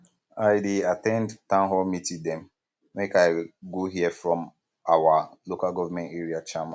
i dey at ten d townhall meeting dem um make i go hear from our lga chairman